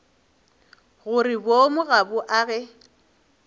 gore boomo ga bo age